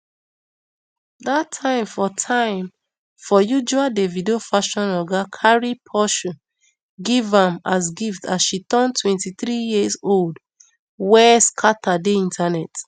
dat time for time for usual davido fashion oga cari porshe give am as gift as she turn twenty-three years old wey scata di internet